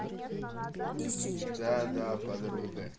да да подруга